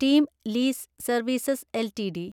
team lease services LTD